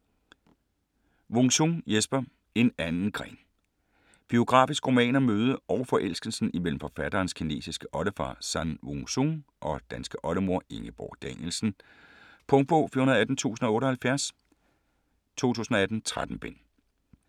Wung-Sung, Jesper: En anden gren Biografisk roman om mødet og forelskelsen imellem forfatterens kinesiske oldefar San Wung Sung og danske oldemor Ingeborg Danielsen. Punktbog 418078 2018. 13 bind.